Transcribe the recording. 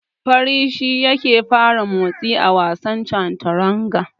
Fari shi yake fara motsi a wasan Chanturanga.